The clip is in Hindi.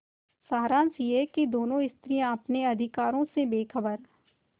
सारांश यह कि दोनों स्त्रियॉँ अपने अधिकारों से बेखबर